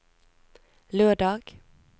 lørdag